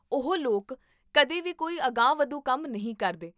ਉਹ ਲੋਕ ਕਦੇ ਵੀ ਕੋਈ ਅਗਾਂਹਵਧੂ ਕੰਮ ਨਹੀਂ ਕਰਦੇ